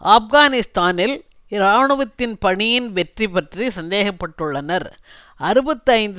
ஆப்கானிஸ்தானில் இராணுவத்தின் பணியின் வெற்றி பற்றி சந்தேகப்பட்டுள்ளனர் அறுபத்தி ஐந்து